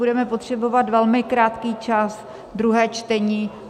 Budeme potřebovat velmi krátký čas, druhé čtení.